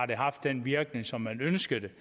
det har haft den virkning som man ønskede det